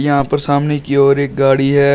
यहां पर सामने की ओर एक गाड़ी है।